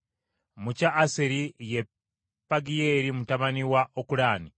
mu kya Aseri ye Pagiyeeri mutabani wa Okulaani;